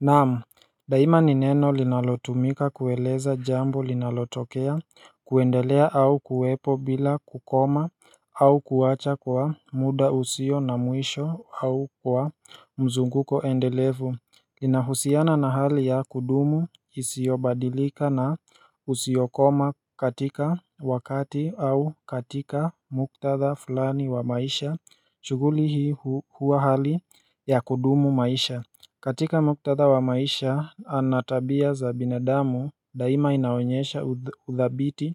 Naam, daima ni neno linalotumika kueleza jambo linalotokea, kuendelea au kuwepo bila kukoma au kuwacha kwa muda usio na mwisho au kwa mzunguko endelevu Linahusiana na hali ya kudumu isiyobadilika na usiokoma katika wakati au katika muktadha fulani wa maisha, shughuli hii huwa hali ya kudumu maisha katika muktadha wa maisha ana tabia za binadamu daima inaonyesha udhabiti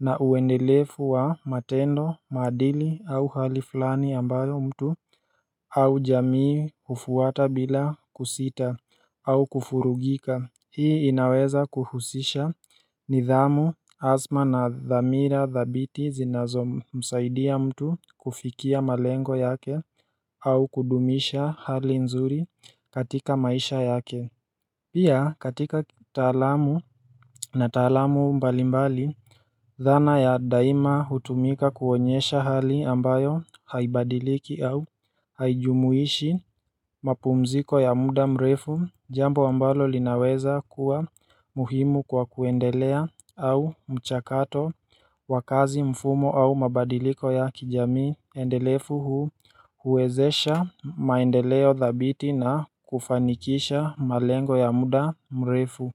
na uendelefu wa matendo, maadili au hali fulani ambayo mtu au jamii kufuata bila kusita au kufurugika. Hii inaweza kuhusisha nidhamu adhma na dhamira dhabiti zinazomsaidia mtu kufikia malengo yake au kudumisha hali nzuri katika maisha yake Pia katika kitaalamu na taalamu mbalimbali, dhana ya daima hutumika kuonyesha hali ambayo haibadiliki au haijumuishi mapumziko ya muda mrefu jambo ambalo linaweza kuwa muhimu kwa kuendelea au mchakato wa kazi mfumo au mabadiliko ya kijamii. Ndelefu hu huwezesha maendeleo dhabiti na kufanikisha malengo ya muda mrefu.